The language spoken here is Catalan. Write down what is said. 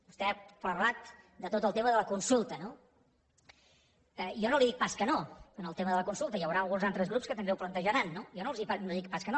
vostè ha parlat de tot el tema de la consulta no jo no li dic pas que no en el tema de la consulta hi haurà uns altres grups que també ho plantejaran jo no els dic pas que no